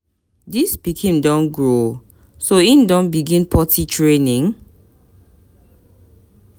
Dis pikin don grow o, so im don begin potty training?